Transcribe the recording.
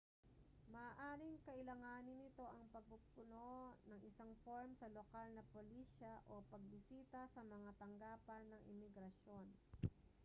maaaring kailanganin nito ang pagpupuno ng isang form sa lokal na polisya o pagbisita sa mga tanggapan ng imigrasyon